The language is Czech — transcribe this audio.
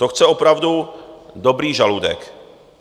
To chce opravdu dobrý žaludek.